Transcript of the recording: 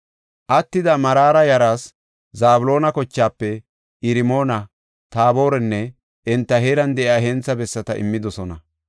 Attida Maraara yaraas Zabloona kochaafe Irmoona, Taaborenne enta heeran de7iya hentha bessata immidosona.